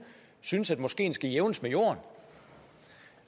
synes at moskeen skal jævnes med jorden